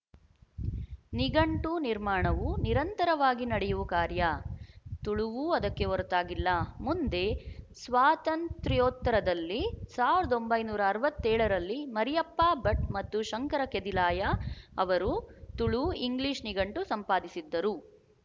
ನಿಘಂಟು ನಿರ್ಮಾಣವು ನಿರಂತರವಾಗಿ ನಡೆಯುವ ಕಾರ್ಯ ತುಳುವೂ ಅದಕ್ಕೆ ಹೊರತಾಗಿಲ್ಲ ಮುಂದೆ ಸ್ವಾತಂತ್ರ್ಯೋತ್ತರದಲ್ಲಿ ಸಾವಿರದ ಒಂಬೈನೂರ ಅರವತ್ತ್ ಏಳರಲ್ಲಿ ಮರಿಯಪ್ಪ ಭಟ್ ಮತ್ತು ಶಂಕರ ಕೆದಿಲಾಯ ಅವರು ತುಳುಇಂಗ್ಲಿಶ ನಿಘಂಟು ಸಂಪಾದಿಸಿದ್ದರು